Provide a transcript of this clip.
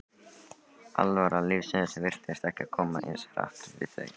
alvara lífsins virtist ekki koma eins hart við þau.